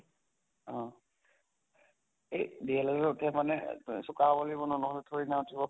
অহ এ DL Ed ত উঠে মানে এহ চোকা হʼব লাগিব ন ন্হʼলে থোৰি না উঠিব